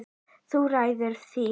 Þú ræður því.